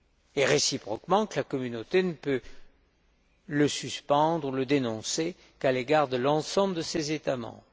et réciproquement, que la Communauté ne peut le suspendre ou le dénoncer qu'à l'égard de l'ensemble de ses États membres.